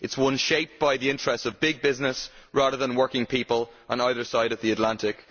It is one shaped by the interests of big business rather than working people on either side of the Atlantic.